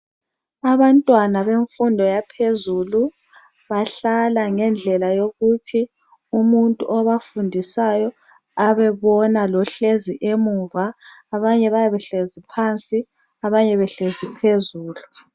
Abantwana bemfundo yaphezulu bahlala ngendlela yokuthi umuntu obafundisayo abe bona lohlezi emuva abanye bayabe behlezi phansi abanye behlezi phezulu.